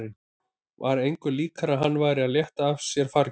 Var engu líkara en hann væri að létta af sér fargi.